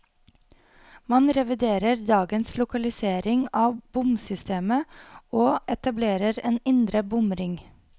Man reviderer dagens lokalisering av bomsystemet, og etablerer en indre bomring.